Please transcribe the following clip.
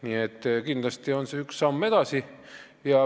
Nii et kindlasti on see üks samm edasi.